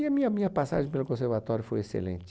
E a minha minha passagem pelo conservatório foi excelente.